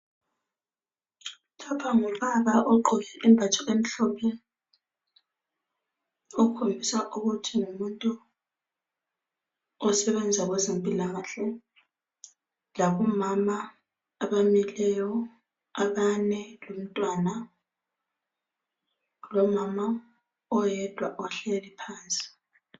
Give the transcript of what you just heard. Lapha ngubaba ogqoke isembatho emhlophe okhombisa ukuthi ngumuntu osebenza kwezempilakahle labomama abamileyo abane lomntwana lomama oyedwa ohleli phansi.